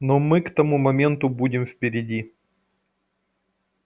но мы к тому моменту будем впереди